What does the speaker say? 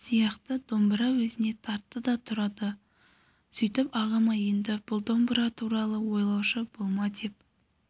сияқты домбыра өзіне тартты да тұрды сөйтіп ағама енді бұл домбыра туралы ойлаушы болма деп